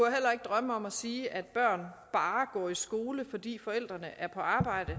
drømme om at sige at børn bare går i skole fordi forældrene er på arbejde